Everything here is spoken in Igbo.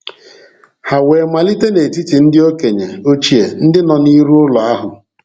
Ha we malite n'etiti ndi okenye ochie ndi nọ n'iru ụlọ ahụ.